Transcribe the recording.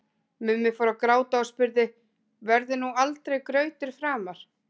Mummi fór að gráta og spurði: Verður nú aldrei grautur framar?